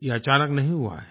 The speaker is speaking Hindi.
ये अचानक नहीं हुआ है